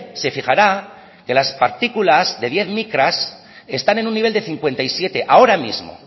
se fijará que las partículas de diez micras están en un nivel de cincuenta y siete ahora mismo